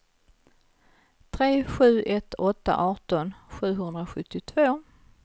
tre sju ett åtta arton sjuhundrasjuttiotvå